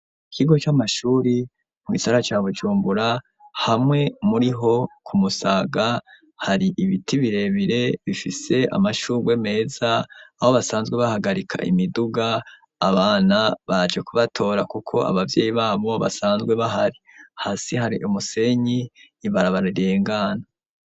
Ikigo c'amashuri mu isara ca bujumbura hamwe muri ho ku musaga hari ibiti birebire bifise amashurwe meza aho basanzwe bahagarika imiduga abana baje kubatora kuko abavyeyi babo basanzwe bahari hasi hari umusenyi ibaraba rirengana.